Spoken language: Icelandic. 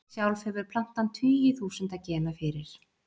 sjálf hefur plantan tugi þúsunda gena fyrir